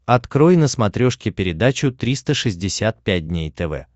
открой на смотрешке передачу триста шестьдесят пять дней тв